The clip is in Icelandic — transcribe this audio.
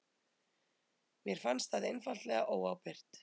Mér fannst það einfaldlega óábyrgt